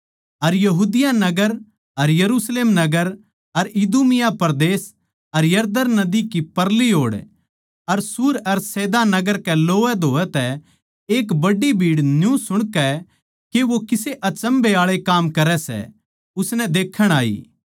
अर यहूदिया नगर अर यरुशलेम नगर अर इदूमिया परदेस अर यरदन नदी के परली ओड़ अर सूर अर सैदा नगर के लोवैधोवै तै एक बड्डी भीड़ न्यू सुणकै के वो किसे अचम्भै आळे काम करै सै उसनै देक्खण आई